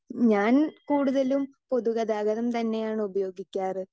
Speaker 2 ഞാൻ കൂടുതലും പൊതുഗതാഗതം തന്നെയാണ് ഉപയോഗിക്കാറ്.